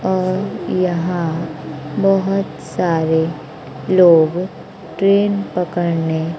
और यहां बहोत सारे लोग ट्रेन पकड़ने--